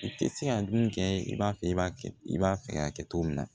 I tɛ se ka dumuni kɛ i b'a fɛ i b'a kɛ i b'a fɛ k'a kɛ cogo min na